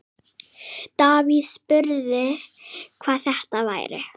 Davíð spurði, hvað þetta væri.